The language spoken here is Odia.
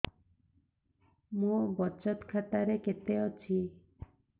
ମୋ ବଚତ ଖାତା ରେ କେତେ ଅଛି